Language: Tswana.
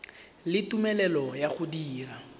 le tumelelo ya go dira